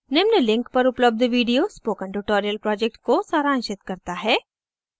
निम्न link पर उपलब्ध video spoken tutorial project को सारांशित करता है